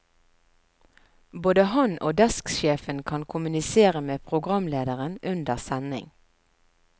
Både han og desksjefen kan kommunisere med programlederen under sending.